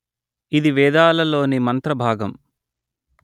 ఇది వేదాలలోని మంత్రభాగం